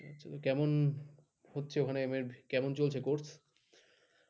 কেমন চলছে ওখানে m ed কেমন চলছে ওখানে course?